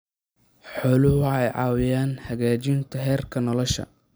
Xooluhu waxay caawiyaan hagaajinta heerka nolosha.